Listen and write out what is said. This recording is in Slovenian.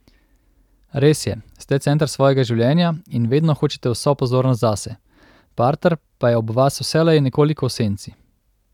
Res je, ste center svojega življenja in vedno hočete vso pozornost zase, parter pa je ob vas vselej nekoliko v senci.